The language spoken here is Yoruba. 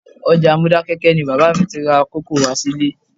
Ọjà Modákẹ́kẹ́ ni bàbá mi ti ra kòkó wá sílé